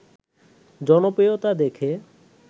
জনপ্রিয়তা দেখে